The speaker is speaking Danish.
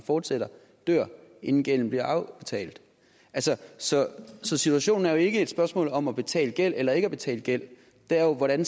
fortsætter dør inden gælden bliver afbetalt så så situationen er jo ikke et spørgsmål om at betale gæld eller ikke at betale gæld det er jo hvordan